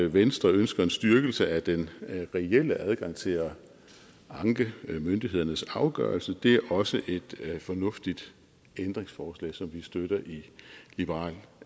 venstre ønsker en styrkelse af den reelle adgang til at anke myndighedernes afgørelse det er også et fornuftigt ændringsforslag som vi støtter i liberal